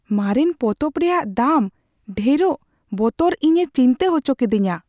ᱢᱟᱨᱮᱱ ᱯᱚᱛᱚᱵ ᱨᱮᱭᱟᱜ ᱫᱟᱢ ᱰᱷᱮᱨᱚᱜ ᱵᱚᱛᱚᱨ ᱤᱧᱮ ᱪᱤᱱᱛᱟᱹ ᱚᱪᱚ ᱠᱮᱫᱮᱧᱟ ᱾